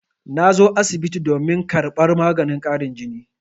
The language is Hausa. Na zo asibiti domin karɓar maganin ƙarin jini.